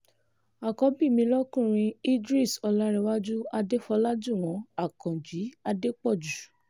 àkọ́bí mi lọkùnrin idris ọláǹrẹ̀wájú adéfọ́lájúwọ̀n akànjí adépọ́jú